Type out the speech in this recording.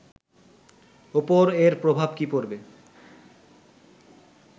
ওপর এর প্রভাব কী পড়বে